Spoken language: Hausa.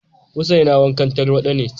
husaina wankan tarwada ce